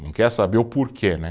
Não quer saber o porquê, né